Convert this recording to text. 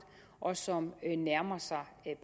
og som nærmer sig